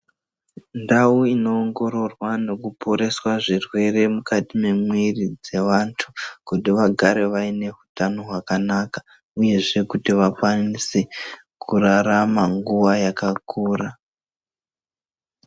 Ndau inoongororwa nokuporeswa zvirwere mukati memwiri dzevantu kuti vagare vaineutano hwakanaka, uyezve kuti vakwanise kurarama nguva yakakura.